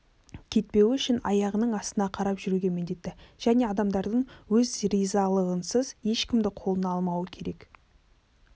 кетпеуі үшін аяғының астына қарап жүруге міндетті және адамдардың өз ризалығынсыз ешкімді қолына алмауы керек